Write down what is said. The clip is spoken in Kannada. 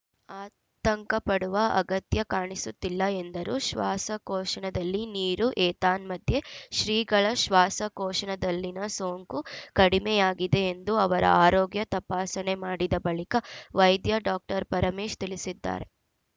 ಆತಂಕಪಡುವ ಅಗತ್ಯ ಕಾಣಿಸುತ್ತಿಲ್ಲ ಎಂದರು ಶ್ವಾಸಕೋಶನದಲ್ಲಿ ನೀರು ಏತನ್ಮಧ್ಯೆ ಶ್ರೀಗಳ ಶ್ವಾಸಕೋಶನದಲ್ಲಿನ ಸೋಂಕು ಕಡಿಮೆ ಆಗಿದೆ ಎಂದು ಅವರ ಆರೋಗ್ಯ ತಪಾಸಣೆ ಮಾಡಿದ ಬಳಿಕ ವೈದ್ಯ ಡಾಕ್ಟರ್ ಪರಮೇಶ್‌ ತಿಳಿಸಿದ್ದಾರೆ